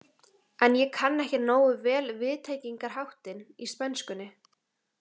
En ég kann ekki nógu vel viðtengingarháttinn í spænskunni.